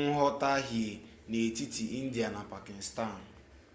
nghọtahie n'etiti india na pakịstan